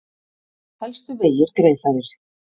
Helstu vegir greiðfærir